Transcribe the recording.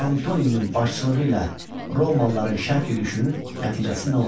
Antoninin başçılığı ilə romalıların şərq yürüşünün nəticəsi nə oldu?